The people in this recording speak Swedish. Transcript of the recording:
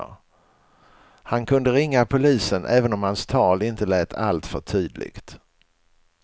Han kunde ringa polisen även om hans tal inte lät alltför tydligt.